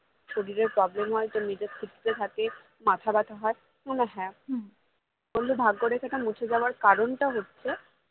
শরীরের problem হয় তোর মেজাজ খিটখিটে থাকে মাথা ব্যাথা হয় মানে হ্যাঁ বললো ভাগ্যরেখাটি মুছে যাওয়ার কারণটা হচ্ছে